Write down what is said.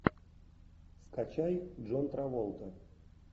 скачай джон траволта